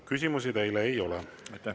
Küsimusi teile ei ole.